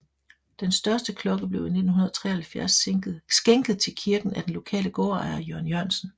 Den største klokke blev i 1973 skænket til kirken af den lokale gårdejer Jørgen Jørgensen